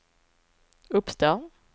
uppstår